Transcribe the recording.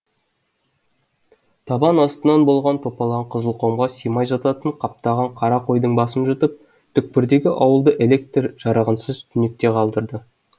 табан астынан болған топалаң қызылқұмға симай жататын қаптаған қара қойдың басын жұтып түкпірдегі ауылды электр жарығынсыз түнекте қалдырды